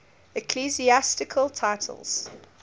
ecclesiastical titles